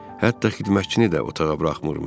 Hətta xidmətçini də otağa buraxmırmış.